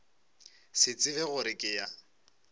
se tsebe gore ke ya